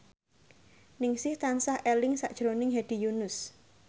Ningsih tansah eling sakjroning Hedi Yunus